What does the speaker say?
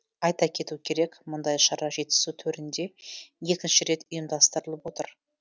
айта кету керек мұндай шара жетісу төрінде екінші рет ұйымдастырылып отыр